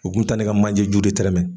U kun bi taa ne ka manje ju de tɛrɛmɛ.